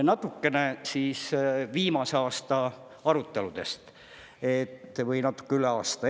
Natukene siis viimase aasta aruteludest või natuke üle aasta.